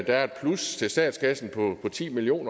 er et plus til statskassen på ti million